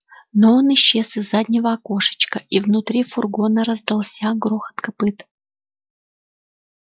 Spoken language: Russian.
но он исчез из заднего окошечка и внутри фургона раздался грохот копыт